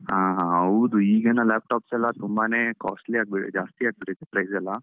ಹಾ ಹಾ ಹೌದು, ಈಗಿನ laptops ಎಲ್ಲ ತುಂಬಾನೇ costly ಆಗ್ಬಿಟ್ಟಿದೆ ಜಾಸ್ತಿ ಆಗ್ಬಿಟ್ಟಿದೆ price ಎಲ್ಲಾ.